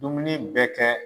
Dumuni bɛ kɛ